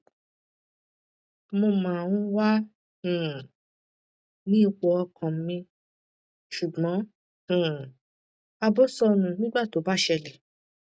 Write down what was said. mo máa ń wà um ní ipò ọkàn mi ṣùgbọn um ààbọ sọnù nígbà tó bá ṣẹlẹ